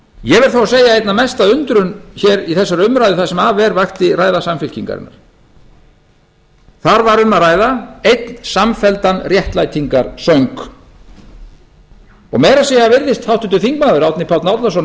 ég vil þó að segja að einna mesta undrun hér í þessari umræðu það sem af er vakti ræða samfylkingarinnar þar var um að ræða einn samfelldan réttlætingarsöng meira að segja virðist háttvirtur þingmaður árni páll árnason